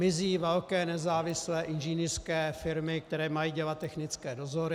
Mizí velké nezávislé inženýrské firmy, které mají dělat technické dozory.